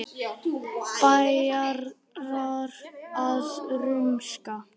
Bæjarar að rumska?